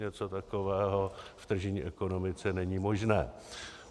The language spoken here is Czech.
Něco takového v tržní ekonomice není možné.